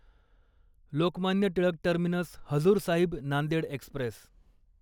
Lokmanya Tilak terminus Hazur Sahib Nanded Express